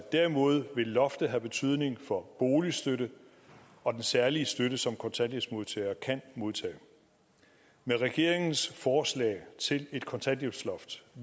derimod vil loftet have betydning for boligstøtten og den særlige støtte som kontanthjælpsmodtagere kan modtage med regeringens forslag til et kontanthjælpsloft